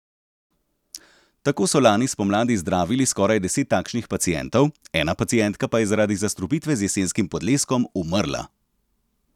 Tako so lani spomladi zdravili skoraj deset takšnih pacientov, ena pacientka pa je zaradi zastrupitve z jesenskim podleskom umrla.